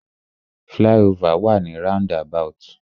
Fly-over wà ni roundabout.